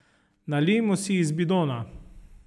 Nalijmo si iz bidona!